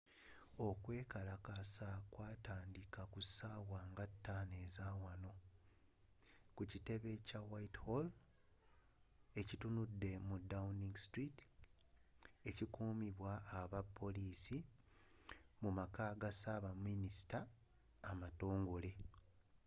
okwekalakaasa kwataandika kussaawa nga 5 ezaawanoutc+1 ku kitebe kya whitehall ekitunudde mu downing street ekuumibwa abapoliisi mumaka ga saabaminisita amatongole